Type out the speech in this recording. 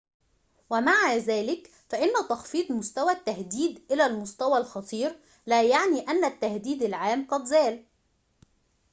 ومع ذلك فإن تخفيض مستوى التهديد إلى المستوى الخطير لا يعني أن التهديد العام قد زال